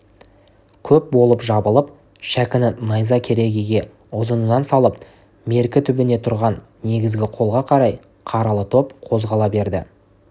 көп болып жабылып шәкіні найза керегеге ұзынынан салып мерке түбінде тұрған негізгі қолға қарай қаралы топ қозғала берді